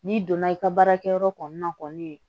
N'i donna i ka baarakɛyɔrɔ kɔni na kɔni